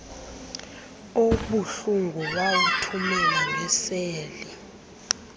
obuhlungu wawuthumela ngeseli